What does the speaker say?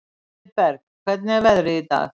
Mildinberg, hvernig er veðrið í dag?